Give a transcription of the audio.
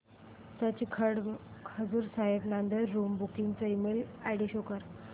Sachkhand Hazur Sahib Nanded room booking चा email ID show कर